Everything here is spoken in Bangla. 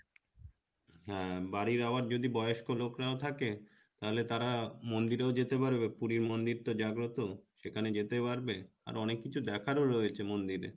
হ্যাঁ বাড়ির আবার যদি বয়স্ক লোকরাও থাকে তালে তারা মন্দিরেও যেতে পারবে পুরি মন্দির তো জাগ্রত সেখানে যেতে পারবে আর অনেক কিছু দেখারও রয়েছে মন্দিরে